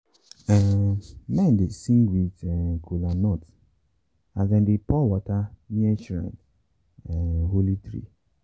um men dey sing with um kolanut as dem dey pour water near shrine um holy tree.